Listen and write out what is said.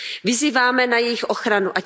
Vyzýváme na jejich ochranu.